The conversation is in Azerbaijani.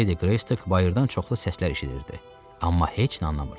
Ledi Qreystik bayırdan çoxlu səslər eşidirdi, amma heç nə anlamırdı.